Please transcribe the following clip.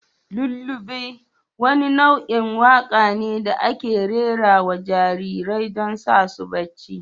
lullaby wani nau'in waƙa ne da ake rera wa jarirai don sa su bacci.